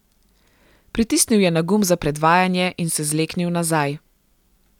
Pritisnil je na gumb za predvajanje in se zleknil nazaj.